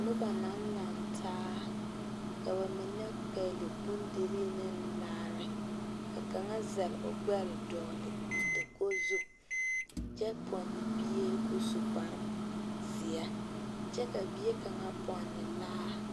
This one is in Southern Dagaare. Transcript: Noba naŋ laŋe taa ka ba mine pegeli bondire ne laare ka kaŋa zel o gbɛre dɔgeli dakogi zu kyɛ ponne bie kɔɔ su kpare zeɛ, kyɛ ka bie kaŋa ponne laa